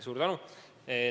Suur tänu!